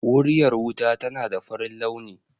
Wuriyar wuta tana da farin launi